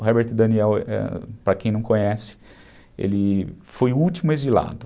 O Herbert Daniel, para quem não conhece, ele foi o último exilado.